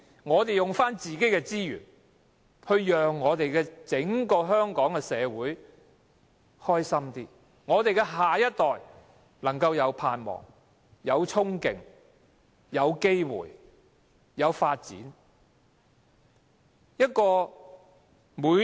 我們利用自己的資源，要讓整個香港社會更加快樂，令我們的下一代能夠有盼望、有憧憬、有機會和有發展。